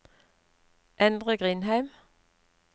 Endre Grindheim